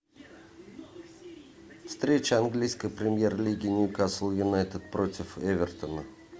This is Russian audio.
встреча английской премьер лиги ньюкасл юнайтед против эвертона